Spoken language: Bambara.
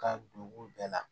Ka don u bɛɛ la